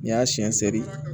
N'i y'a siyɛn sɛri